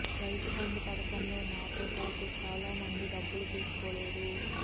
రైతుబంధు పథకంలో నాతో పాటు చాలా మంది డబ్బులు తీసుకోలేదు